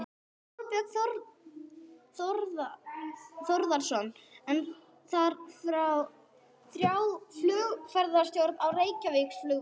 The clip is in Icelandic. Þorbjörn Þórðarson: En þarf þrjá flugumferðarstjóra á Reykjavíkurflugvelli?